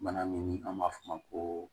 Bana min an b'a f'o ma ko